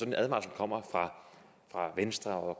en advarsel kommer fra venstre og